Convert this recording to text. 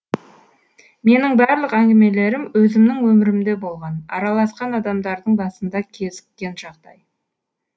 менің барлық әңгімелерім өзімнің өмірімде болған араласқан адамдардың басында кезіккен жағдай